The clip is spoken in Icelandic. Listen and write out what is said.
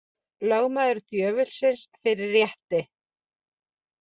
Lögmaður djöfulsins fyrir rétti